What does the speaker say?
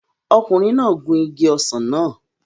Ọkùnrin náà gun igi ọsàn náà